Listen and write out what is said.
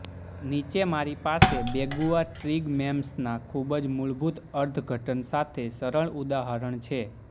નીચે મારી પાસે બેગુઆ ટ્રિગમેમ્સના ખૂબ જ મૂળભૂત અર્થઘટન સાથે સરળ ઉદાહરણ છે